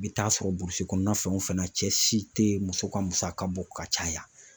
I bɛ taa sɔrɔ burusi kɔnɔna fan o fan na cɛ si tɛ muso ka musaka bɔ ka caya